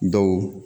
Dɔw